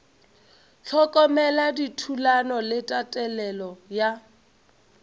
hlokomela dithulano le tatelelo ya